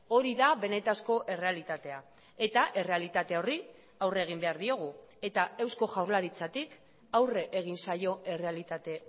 hori da benetako errealitatea eta errealitate horri aurre egin behar diogu eta eusko jaurlaritzatik aurre egin zaio errealitate